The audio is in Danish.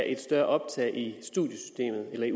et større optag i